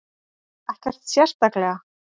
Ekkert sérstaklega.